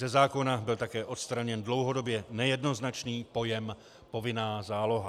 Ze zákona byl také odstraněn dlouhodobě nejednoznačný pojem povinná záloha.